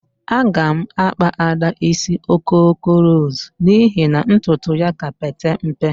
Agam akpa ada isi okoko ros n'ihi na ntutu ya ka Pete mpe.